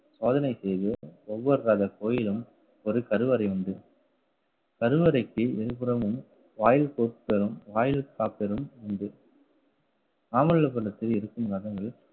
சோதனை செய்து ஒவ்வொரு ரத கோயிலும் ஒரு கருவறை உண்டு கருவறைக்கு இருபுறமும் வாயில் பொருட்களும் வாயில் காப்பரும் உண்டு. மாமல்லாபுரத்தில் இருக்கும் ரதங்கள்